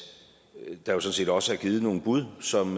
der jo sådan set også er givet nogle bud som